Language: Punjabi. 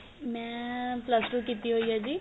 ਮੈਂ plus two ਕੀਤੀ ਹੋਈ ਏ ਜੀ